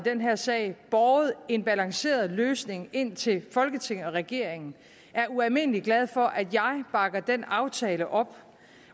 den her sag og båret en balanceret løsning ind til folketinget og regeringen er ualmindelig glade for at jeg bakker den aftale op